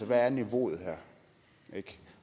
hvad er niveauet her